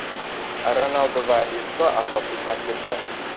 Ronaldu va Isko asosiy tarkibda.